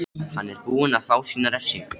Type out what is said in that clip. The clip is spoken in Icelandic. Hann er búinn að fá sína refsingu.